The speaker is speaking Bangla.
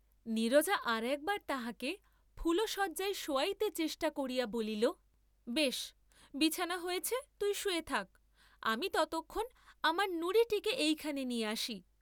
নীরজা আর একবার তাহাকে ফুলশয্যায় শোয়াইতে চেষ্টা করিয়া বলিল, বেশ বিছানা হয়েছে তুই শুয়ে থাক, আমি ততক্ষণ আমার নুরীটিকে এইখানে নিয়ে আসি।